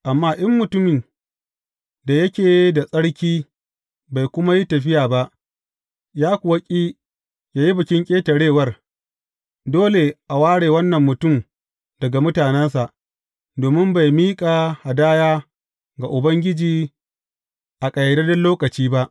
Amma in mutumin da yake da tsarki bai kuma yi tafiya ba, ya kuwa ƙi yă yi Bikin Ƙetarewar, dole a ware wannan mutum daga mutanensa, domin bai miƙa hadaya ga Ubangiji a ƙayyadadden lokaci ba.